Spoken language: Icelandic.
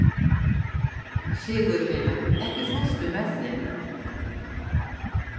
Sigurvina, ekki fórstu með þeim?